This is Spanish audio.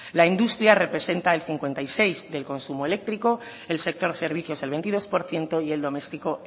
la industria representa el cincuenta y seis del consumo eléctrico el sector servicios el veintidós por ciento y el doméstico